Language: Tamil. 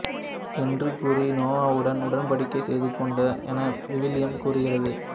என்று கூறி நோவாவுடன் உடன்படிக்கை செய்துகொண்டார் என விவிலியம் கூறுகின்றது